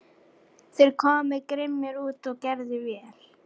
Þeir komu grimmir út og gerðu vel.